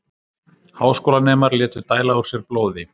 Háskólanemar létu dæla úr sér blóði